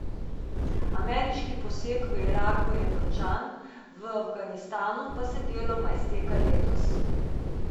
Ameriški poseg v Iraku je končan, v Afganistanu pa se deloma izteka letos.